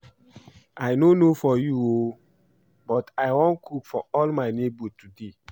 I no know for you oo but I wan cook for all my neighbors today